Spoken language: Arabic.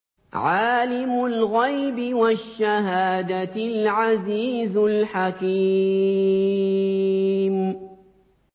عَالِمُ الْغَيْبِ وَالشَّهَادَةِ الْعَزِيزُ الْحَكِيمُ